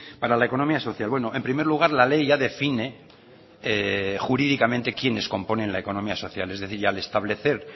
para la economía social bueno en primer lugar la ley ya define jurídicamente quiénes componen la economía social es decir y al establecer